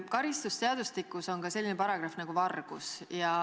Karistusseadustikus on ka selline paragrahv nagu "Vargus".